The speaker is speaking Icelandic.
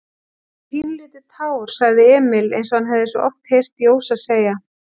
Kannski pínulítið tár, sagði Emil einsog hann hafði svo oft heyrt Jósa segja.